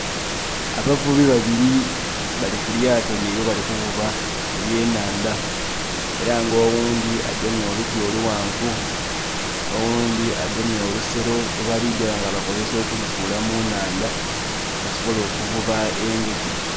Abavubi babiri balikulyato lyaibwe bali kuvuba eby'enhandha era nga oghundhi agemye oluti olughanvu, oghundhi agemye olusero lw'ebaligya nga bakozesa okulusuula mu nhandha basobole okuvuba engege.